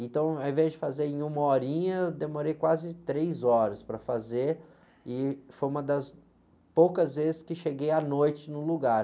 Então, ao invés de fazer em uma horinha, demorei quase três horas para fazer e foi uma das poucas vezes que cheguei à noite num lugar.